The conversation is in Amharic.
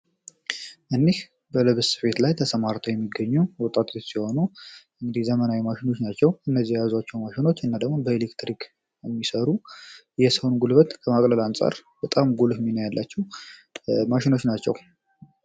እኒህ በልብስ ስፌት ላይ ተሰማርተው የሚገኙ ወጣቶች ሲሆኑ እንግዲህ ዘመናዊ ማሽኖች ናቸው እነዚህ የያዟቸው ማሽኖች ወይም ደግሞ በኤሌክትሪክ የሚሰሩ የሰውን ጉልበት ከማቅለል አንጻር በጣም ጉልህ ሚና ያላቸው ማሽኖች ናቸው።